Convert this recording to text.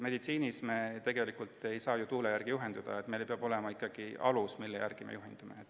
Meditsiinis ei saa me ju tegelikult tuule järgi juhinduda, meil peab olema ikkagi alus, mille järgi me tegutseme.